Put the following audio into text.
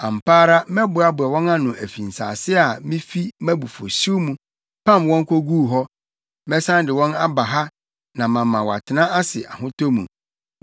Ampa ara mɛboaboa wɔn ano afi nsase a mifi mʼabufuwhyew mu pam wɔn koguu hɔ; mɛsan de wɔn aba ha na mama wɔatena ase ahotɔ mu.